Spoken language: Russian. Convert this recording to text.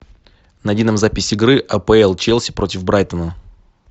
найди нам запись игры апл челси против брайтона